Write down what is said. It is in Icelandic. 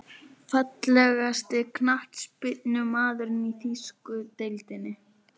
Fallegasti knattspyrnumaðurinn í þýsku deildinni?